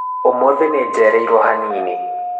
ũmũthĩ nĩnjereirwo hanini